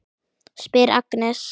spyr Agnes.